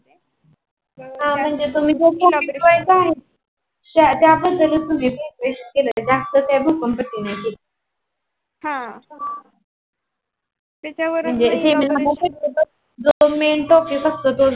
हम्म म्हणजे तुम्ही ज्या पद्धतीत तुम्ही Preparation केल ज्यास्त काही भक्कम पट्टी नाही केली.